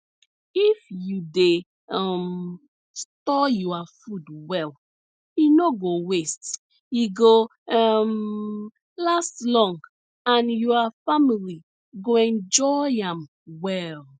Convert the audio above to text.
if you dey um store your food well e no go waste e go um last long and your family go enjoy am well